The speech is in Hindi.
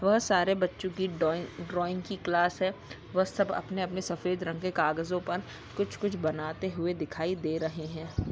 वह सारे बच्चों की डॉइ ड्रॉइंग की क्लास है। वह सब अपने-अपने सफेद रंग के कागजों पर कुछ-कुछ बनाते हुए दिखाई दे रहे है।